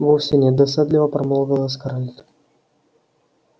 вовсе нет досадливо промолвила скарлетт